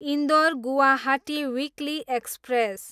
Indore, Guwahati weekly express